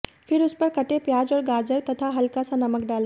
फिर उस पर कटे प्याज और गाजर तथा हल्का सा नमक डालें